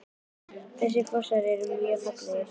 Þessir fossar eru allir mjög fallegir.